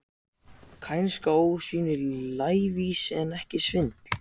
Kænska, ósvífni, lævísi, en ekki svindl.